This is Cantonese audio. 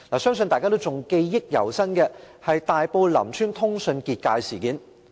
相信大家對大埔林村通訊"結界"事件記憶猶新。